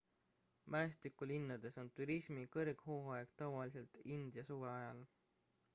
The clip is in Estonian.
mäestikulinnades on turismi kõrghooaeg tavaliselt india suve ajal